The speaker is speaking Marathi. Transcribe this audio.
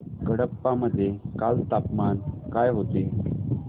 कडप्पा मध्ये काल तापमान काय होते